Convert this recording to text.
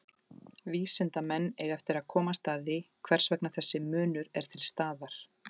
Vísindamenn eiga eftir að komast að því hvers vegna þessi munur er til staðar.